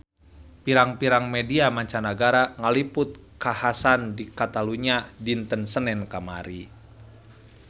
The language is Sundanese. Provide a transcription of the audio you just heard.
Pirang-pirang media mancanagara ngaliput kakhasan di Catalunya dinten Senen kamari